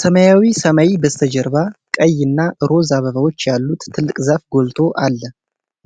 ሰማያዊ ሰማይ በስተጀርባ ቀይ እና ሮዝ አበባዎች ያሉት ትልቅ ዛፍ ጎልቶ አለ።